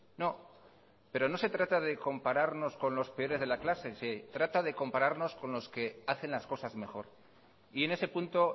no pero no se trata de compararnos con los peores de la clase se trata de compararnos con los que hacen las cosas mejor y en ese punto